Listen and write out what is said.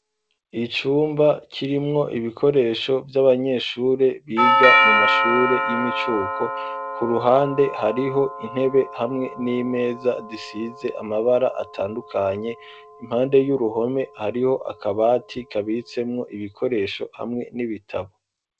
Icumba kirimwo ibikoresho vy'abanyeshure biga mu mashure y'imicuko ,ku ruhande hariho intebe hamwe n'imeza zisize amabara atandukanye, impande y'uruhome hariho akabati kabitsemwo ibikoresho hamwe n'ibitabo.